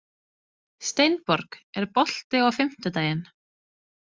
Steinborg, er bolti á fimmtudaginn?